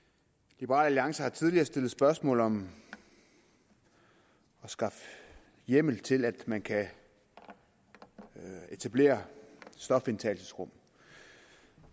liberal alliance har tidligere stillet spørgsmål om at skaffe hjemmel til at man kan etablere stofindtagelsesrum